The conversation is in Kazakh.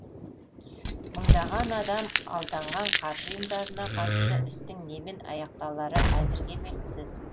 мыңдаған адам алданған қаржы ұйымдарына қатысты істің немен аяқталары әзірге белгісіз